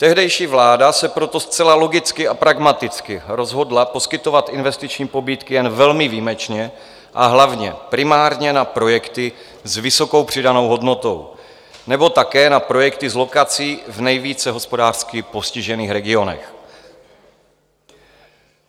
Tehdejší vláda se proto zcela logicky a pragmaticky rozhodla poskytovat investiční pobídky jen velmi výjimečně, a hlavně primárně na projekty s vysokou přidanou hodnotou nebo také na projekty s lokací v nejvíce hospodářsky postižených regionech.